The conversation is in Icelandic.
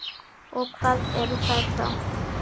Og hvað eru þær þá?